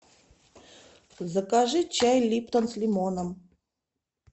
закажи чай липтон с лимоном